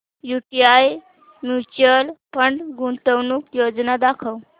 UTI mutual fund गुंतवणूक योजना दाखव